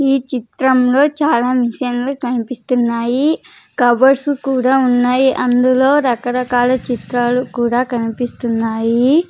ఈ చిత్రంలో చాలా మిషన్లు కనిపిస్తున్నాయి కబోర్డ్స్ కూడా ఉన్నాయి అందులో రకరకాల చిత్రాలు కూడా కనిపిస్తున్నాయి.